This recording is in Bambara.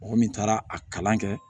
Mɔgɔ min taara a kalan kɛ